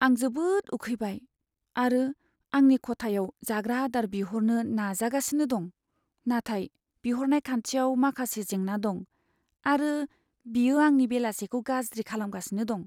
आं जोबोद उखैबाय आरो आंनि खथायाव जाग्रा आदार बिहरनो नाजागासिनो दं, नाथाय बिहरनाय खान्थियाव माखासे जेंना दं, आरो बेयो आंनि बेलासिखौ गाज्रि खालामगासिनो दं।